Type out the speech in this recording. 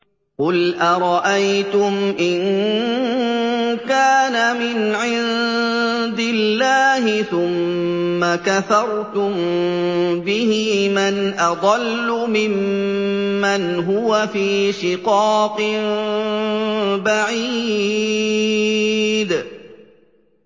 قُلْ أَرَأَيْتُمْ إِن كَانَ مِنْ عِندِ اللَّهِ ثُمَّ كَفَرْتُم بِهِ مَنْ أَضَلُّ مِمَّنْ هُوَ فِي شِقَاقٍ بَعِيدٍ